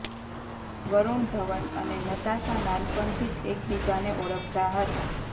વરુણ ધવન અને નતાશા નાનપણથી જ એક બીજાને ઓળખતા હતા